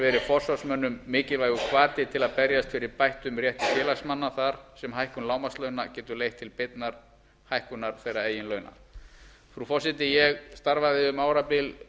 verið forsvarsmönnum mikilvægur hvati til að berjast fyrir bættum rétti félagsmanna þar sem hækkun lágmarkslauna getur leitt til beinnar hækkunar launa þeirra frú forseti ég starfaði um árabil